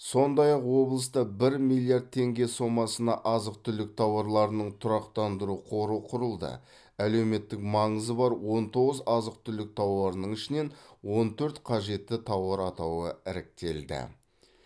сондай ақ облыста бір миллиард теңге сомасына азық түлік тауарларының тұрақтандыру қоры құрылды әлеуметтік маңызы бар он тоғыз азық түлік тауарының ішінен он төрт қажетті тауар атауы іріктелді